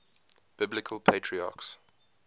biblical patriarchs